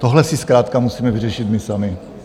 Tohle si zkrátka musíme vyřešit my sami.